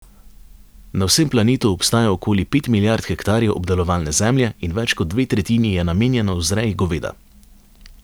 Na vsem planetu obstaja okoli pet milijard hektarjev obdelovalne zemlje in več kot dve tretjini je namenjeno vzreji goveda.